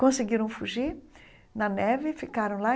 Conseguiram fugir na neve, ficaram lá.